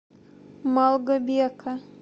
малгобека